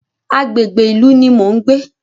Agbègbè ìlú ní mo ń gbé.